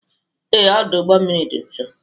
Ee, ọdụ ụgbọ mmiri dị nso.